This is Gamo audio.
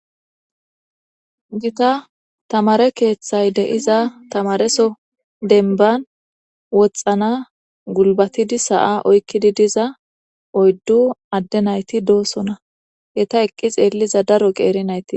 gita tamare keeththay de'iza tamareso denban woxxana gulbatidi sa'a oykkidi diza oyddu adde nayti doosona, eta eqqi xeelliza daro qeeri nayti